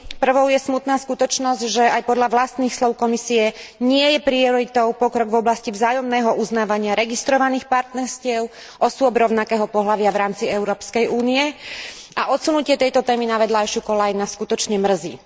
Prvou je smutná skutočnosť, že aj podľa vlastných slov Komisie nie je prioritou pokrok v oblasti vzájomného uznávania registrovaných partnerstiev osôb rovnakého pohlavia v rámci Európskej únie a odsunutie tejto témy na vedľajšiu koľaj ma skutočne mrzí.